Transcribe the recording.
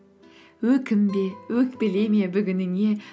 өкінбе өкпелеме бүгініңе